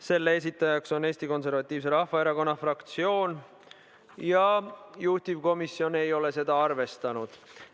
Selle esitaja on Eesti Konservatiivse Rahvaerakonna fraktsioon ja juhtivkomisjon ei ole seda arvestanud.